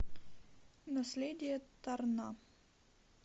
наследие торна